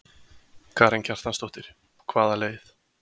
Karen Kjartansdóttir: Hvaða leið?